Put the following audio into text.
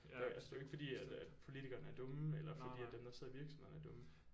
Øh det er jo ikke fordi at at politikerne er dumme eller fordi at dem der sidder i virksomhederne er dumme